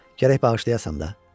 Gərək bağışlayasan da.